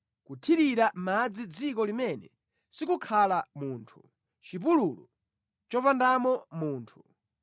kuthirira madzi dziko limene sikukhala munthu, chipululu chopandamo munthu,